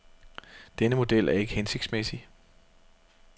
Denne model er ikke hensigtsmæssig.